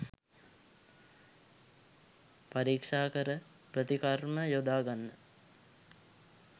පරීක්‌ෂාකර ප්‍රතිකර්ම යොදා ගන්න